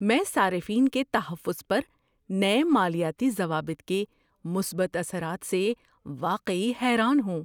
میں صارفین کے تحفظ پر نئے مالیاتی ضوابط کے مثبت اثرات سے واقعی حیران ہوں۔